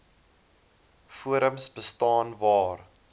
forums bestaan waar